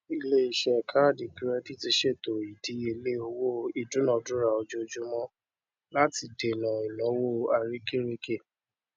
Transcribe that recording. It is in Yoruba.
iléiṣẹ káàdì kirẹdìtì ṣètò ìdíyelé owó ìdunadura ojoojúmọ láti dènà ináwó àrekèrèke